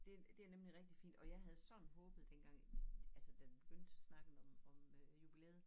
Det det nemlig rigtig fint og jeg havde sådan håbet dengang vi altså da vi begyndte snakken om om øh jubilæet